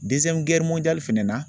fɛnɛ na